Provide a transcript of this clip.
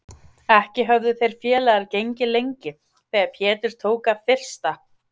Ekki höfðu þeir félagar gengið lengi þegar Pétur tók að þyrsta.